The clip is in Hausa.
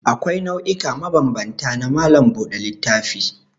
Akwai nau'ika mabambanta na malam buɗe littafinka.